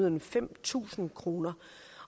end fem tusind kroner